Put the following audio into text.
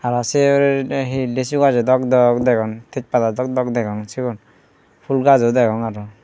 aro se huri te he lechu gajo dok dok degong thej pada dok dok degong sigun fhool gaj o degong aro.